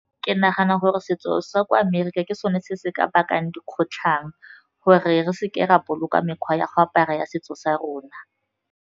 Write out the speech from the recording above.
Ke nagana gore setso sa kwa Amerika ke sone se se ka bakang dikgotlhang gore re seke ra boloka mekgwa ya go apara ya setso sa rona.